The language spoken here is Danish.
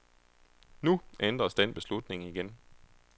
Nu ændres den beslutning igen.